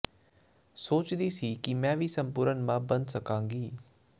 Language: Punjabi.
ਸੋਚਦੀ ਸੀ ਕੀ ਮੈਂ ਵੀ ਸੰਪੂਰਨ ਮਾਂ ਬਣ ਸਕਾਂਗੀ